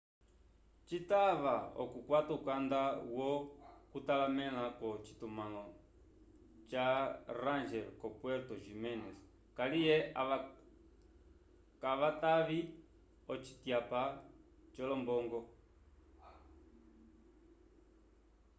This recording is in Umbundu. citava okukwata ukanda yo kutalamela ko citumalo ca ranger ko puerto jiménez kaliye ava kavatavi ocityapa co lombongo